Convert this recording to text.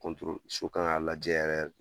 so k'an ka lajɛ yɛrɛ yɛrɛ